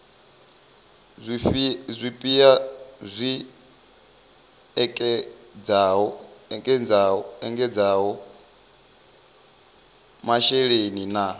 zwipia zwi ekedzaho masheleni na